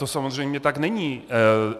To samozřejmě tak není.